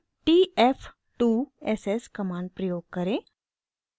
t f 2 s s command प्रयोग करें